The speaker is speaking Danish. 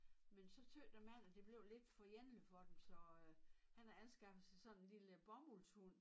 Men så tøt æ mand at det blev lidt for ene for dem så øh han har anskaffet sig sådan en lille bomuldshund